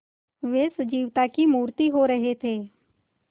वे सजीवता की मूर्ति हो रहे थे